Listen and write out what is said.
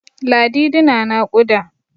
Ladidi na naƙuda.